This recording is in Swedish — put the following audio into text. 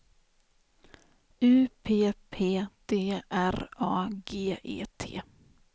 U P P D R A G E T